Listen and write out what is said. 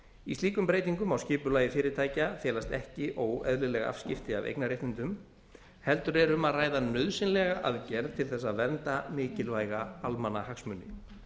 í slíkum breytingum á skipulagi fyrirtækja felast ekki óeðlileg afskipti af eignarréttindum heldur er um að ræða nauðsynlega aðgerð til þess að vernda mikilvæga almannahagsmuni